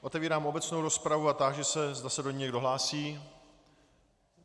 Otevírám obecnou rozpravu a táži se, zda se do ní někdo hlásí.